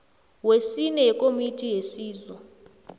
wesine wekomiti yesizo